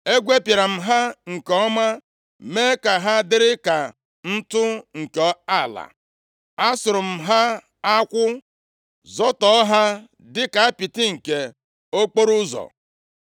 Egwepịara m ha nke ọma, mee ka ha dịrị ka ntụ nke ala. Asụrụ m ha akwụ, zọtọọ ha dịka apịtị nke okporoụzọ.